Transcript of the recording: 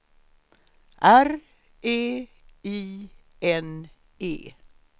R E I N E